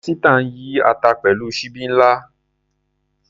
Esita ń yí ata pẹ̀lú ṣíbí ńlá.